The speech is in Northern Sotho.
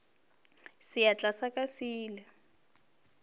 seatla sa ka se ile